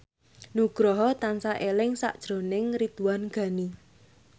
Nugroho tansah eling sakjroning Ridwan Ghani